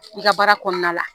I ka baara kɔnɔna la